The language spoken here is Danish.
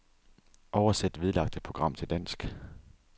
Oversæt vedlagte program til dansk.